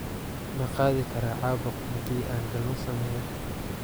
Ma qaadi karaa caabuq haddii aan galmo sameeyo?